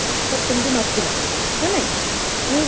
ତାର ସେମତି ନଥିଲ, ନା ନାହିଁ, ଯୋଉ